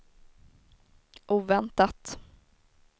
oväntat